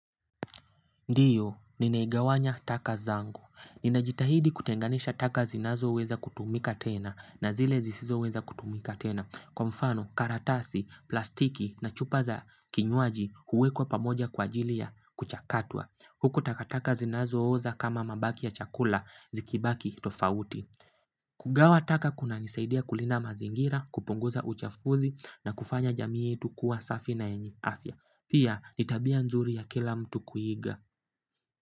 Ndiyo, ninaigawanya taka zangu. Ninajitahidi kutenganisha taka zinazoweza kutumika tena na zile zisizoweza kutumika tena. Kwa mfano, karatasi plastiki na chupa za kinywaji huwekwa kwa pamoja kwa ajili ya kuchakatwa huko taka taka zinazooza kama mabaki ya chakula, zikibaki tofauti. Kugawa taka kunanisaidia kulinda mazingira, kupunguza uchafuzi na kufanya jamii yetu kuwa safi na yenye afya. Pia, ni tabia nzuri ya kila mtu kuiga.